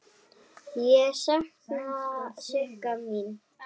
Ég sakna Sigga míns.